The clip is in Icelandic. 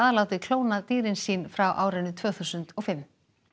látið klóna dýrin sín frá tvö þúsund og fimm